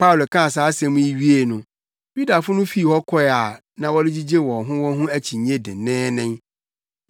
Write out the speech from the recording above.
Paulo kaa saa asɛm yi wiei no, Yudafo no fii hɔ kɔe a na wɔregyigye wɔn ho wɔn ho akyinnye denneennen.